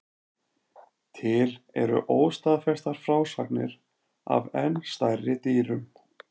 Til eru óstaðfestar frásagnir af enn stærri dýrum.